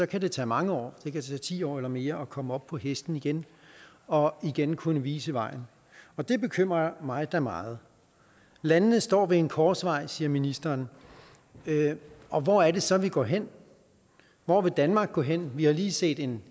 kan det tage mange år ti år eller mere at komme op på hesten igen og igen kunne vise vejen og det bekymrer mig da meget landene står ved en korsvej siger ministeren og hvor er det så vi går hen hvor vil danmark gå hen vi har lige set en